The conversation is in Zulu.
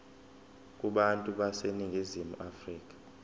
kubantu baseningizimu afrika